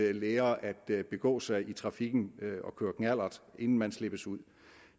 at lære at begå sig i trafikken inden man slippes ud